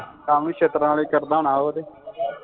ਕੰਮ ਛਿੱਤਰਾਂ ਆਲੇ ਕਰਦਾ ਹੋਣਾ ਹੋਰ